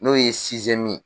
N'o ye ye.